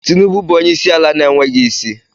Tinubu bụ onye isi ala na-enweghị isi.